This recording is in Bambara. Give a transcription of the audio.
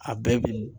A bɛɛ bi